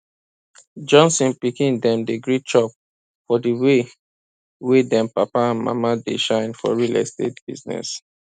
johnson pikin dem dey gree chop for di way wey dem papa and mama dey shine for real estate business